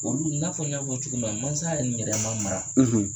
Olu n'a fɔ n y'a fɔ cogo min na mansa yɛrɛ man mara.